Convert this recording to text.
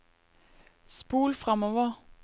spol framover